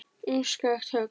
Um skakkt högg